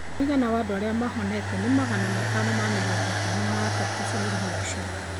Rĩu mũigana wa andũ arĩa mahonete nĩ magana matano na mĩrongo ĩtano na atatũ bũrũri-inĩ ũcio.